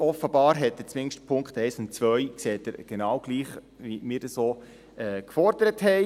Offenbar sieht er zumindest Punkt 1 und 2 genau gleich, wie wir es fordern.